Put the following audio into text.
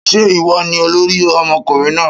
Ṣé ìwọ ni olórí ọmọkùnrin náà?